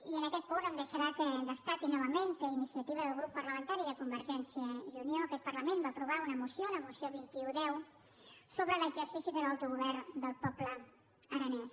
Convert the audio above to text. i en aquest punt em deixarà que destaqui novament que a iniciativa del grup parlamentari de convergència i unió aquest parlament va aprovar una moció la moció vint un x sobre l’exercici de l’autogovern del poble aranès